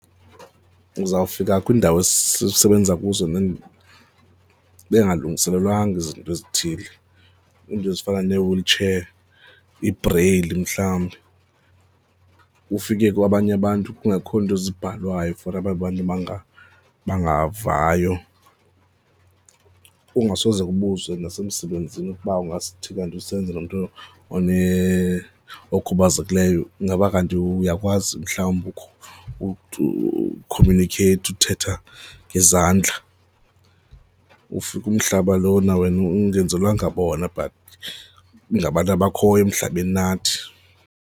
Uzawufika kwiindawo esisebenza kuzo bengalungiselelwanga izinto ezithile, iinto ezifana nee-wheel chair, iibreyili mhlawumbi. Ukufike kwabanye abantu kungekho nto ezibhalwayo for aba bantu bangavayo, kungasoze kubuzwe nasemsebenzini ukuba kuthi kanti usebenza nomntu okhubazekileyo ingaba kanti uyakwazi mhlawumbi ukhomunikheyitha, uthetha ngezandla. Ufika umhlaba lona wena engenzelwanga bona but ngabantu abakhoyo emhlabeni nathi.